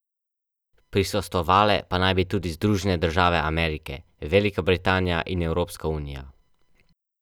O, še prevečkrat.